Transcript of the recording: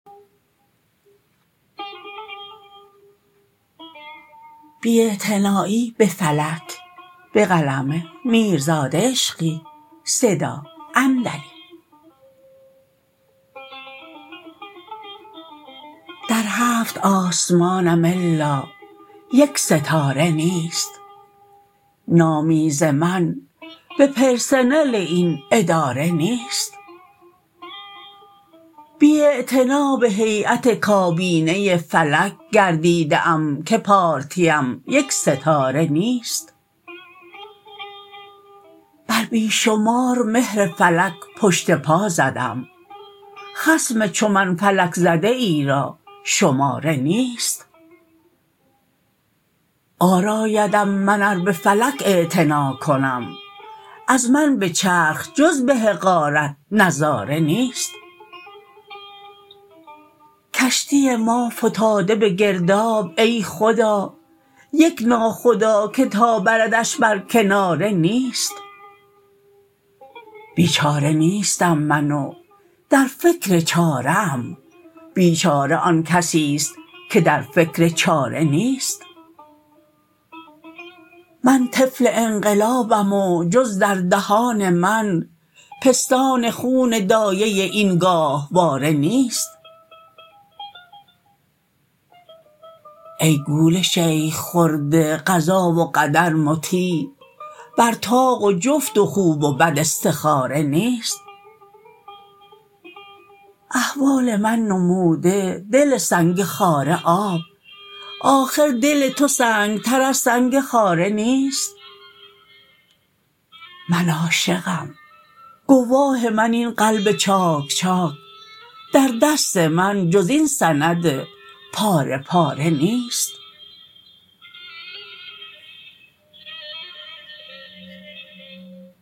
در هفت آسمانم الا یک ستاره نیست نامی ز من به پرسنل این اداره نیست بی اعتنا به هییت کابینه فلک گردیده ام که پارتی ام یک ستاره نیست بر بی شمار مهر فلک پشت پا زدم خصم چو من فلک زده ای را شماره نیست عار آیدم من ار به فلک اعتنا کنم از من به چرخ جز به حقارت نظاره نیست کشتی ما فتاده به گرداب ای خدا یک ناخدا که تا بردش بر کناره نیست بیچاره نیستم من و در فکر چاره ام بیچاره آن کسیست که در فکر چاره نیست من طفل انقلابم و جز در دهان من پستان خون دایه این گاهواره نیست ای گول شیخ خورده قضا و قدر مطیع بر طاق و جفت و خوب و بد استخاره نیست احوال من نموده دل سنگ خاره آب آخر دل تو سنگتر از سنگ خاره نیست من عاشقم گواه من این قلب چاک چاک در دست من جز این سند پاره پاره نیست